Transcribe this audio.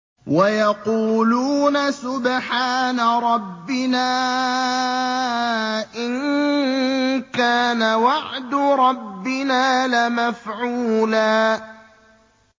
وَيَقُولُونَ سُبْحَانَ رَبِّنَا إِن كَانَ وَعْدُ رَبِّنَا لَمَفْعُولًا